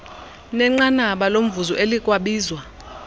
nenqanaba lomvuzo elikwabizwa